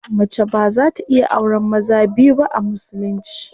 Mace baza ta iya auren maza biyu ba a musulunci.